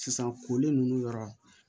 Sisan koli ninnu yɔrɔ